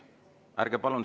Ärge palun …